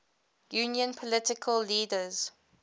union political leaders